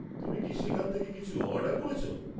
তুমি কি সেখান থেকে কিছু অর্ডার করেছ?